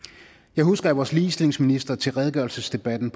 jeg husker at vores ligestillingsminister til redegørelsesdebatten